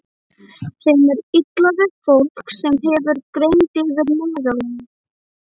Þeim er illa við fólk, sem hefur greind yfir meðallagi.